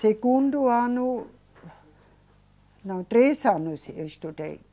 Segundo ano. Não, três anos eu estudei.